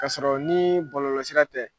K'a sɔrɔ ni bɔlɔlɔsira tɛ